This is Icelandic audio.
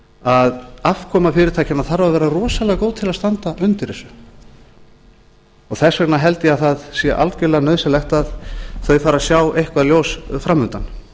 að afkoma fyrirtækjanna þarf að vera rosalega góð til að standa undir þessu þess vegna held ég að það sé algerlega nauðsynlegt að þau fari að sjá eitthvað ljós framundan